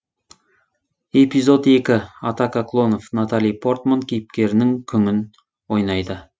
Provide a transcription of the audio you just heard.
эпизод екі атака клонов натали портман кейіпкерінің күңін ойнайды